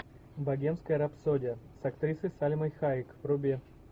богемская рапсодия с актрисой сальмой хайек вруби